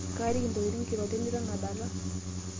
kaaliki intokiting' kiroret niton adala